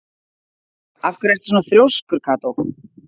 Af hverju ertu svona þrjóskur, Kató?